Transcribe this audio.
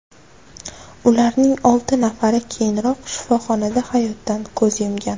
Ularning olti nafari keyinroq shifoxonada hayotdan ko‘z yumgan.